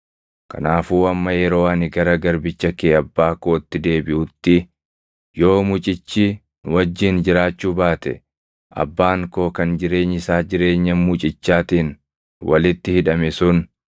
“Kanaafuu amma yeroo ani gara garbicha kee abbaa kootti deebiʼutti, yoo mucichi nu wajjin jiraachuu baate abbaan koo kan jireenyi isaa jireenya mucichaatiin walitti hidhame sun,